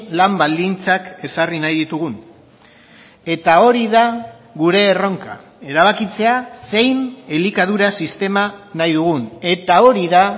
lan baldintzak ezarri nahi ditugun eta hori da gure erronka erabakitzea zein elikadura sistema nahi dugun eta hori da